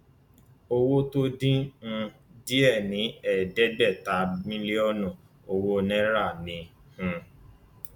owó tó dín um díẹ ní ẹẹdẹgbẹta mílíọnù owó náírà ni um